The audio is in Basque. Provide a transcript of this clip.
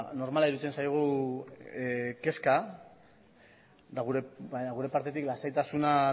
normala iruditzen zaigu kezka eta gure partetik lasaitasuna